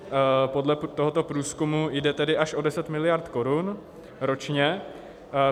Podle tohoto průzkumu jde tedy až o 10 miliard korun ročně.